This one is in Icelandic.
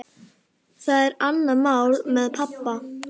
Hæfileg líkamsþjálfun er talin hafa góð áhrif á blóðþrýsting.